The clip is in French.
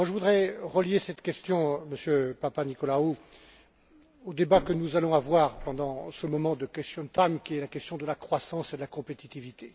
Je voudrais relier cette question, Monsieur Papanikolaou, au débat que nous allons avoir, pendant ce moment de questions time sur la question de la croissance et de la compétitivité.